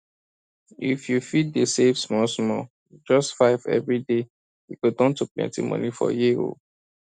if you fit dey save small small just five every day e go turn to plenty money for year oh